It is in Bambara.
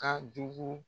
Ka jugu